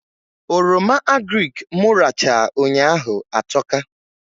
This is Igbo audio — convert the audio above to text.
Oroma agrịk mụ rachaa ụnyaahụ atọka